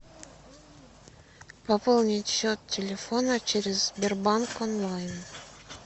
пополнить счет телефона через сбербанк онлайн